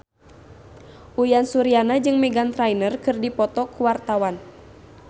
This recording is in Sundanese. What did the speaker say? Uyan Suryana jeung Meghan Trainor keur dipoto ku wartawan